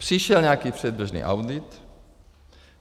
Přišel nějaký předběžný audit.